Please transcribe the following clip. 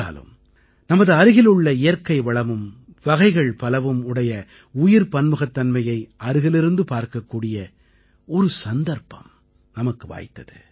என்றாலும் நமது அருகிலுள்ள இயற்கைவளமும் வகைகள் பலவும் உடைய உயிர் பன்முகத்தன்மையை அருகிலிருந்து பார்க்கக்கூடிய ஒரு சந்தர்ப்பம் நமக்கு வாய்த்தது